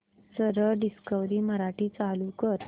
सरळ डिस्कवरी मराठी चालू कर